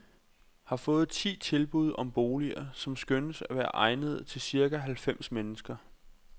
Har fået ti tilbud om boliger, som skønnes at være egnede til cirka halvfems mennesker.